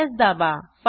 Ctrl S दाबा